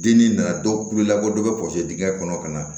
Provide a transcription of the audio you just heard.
Denni na dɔw ku labɔ dɔ bɛ dingɛ kɔnɔ ka na